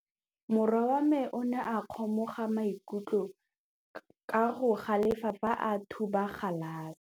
Morwa wa me o ne a kgomoga maikutlo ka go galefa fa a thuba galase.